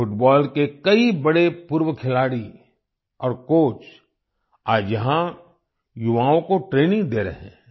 football के कई बड़े पूर्व खिलाड़ी और कोच आज यहाँ युवाओं को ट्रेनिंग दे रहे हैं